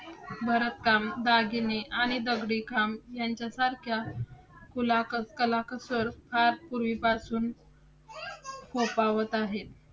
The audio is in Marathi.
भरतकाम, दागिने आणि दगडी काम यांच्यासारख्या कुलाकसर~ कलाकुसर फार पूर्वी पासून फोफावत आहेत